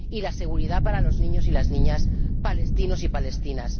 y también la seguridad para los niños y las niñas palestinos y palestinas.